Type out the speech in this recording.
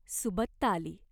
सुबत्ता आली.